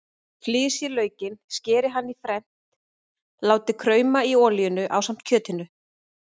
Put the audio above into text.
Flysjið laukinn, skerið hann í fernt og látið krauma í olíunni ásamt kjötinu.